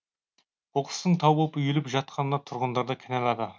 қоқыстың тау боп үйіліп жатқанына тұрғындарды кінәлады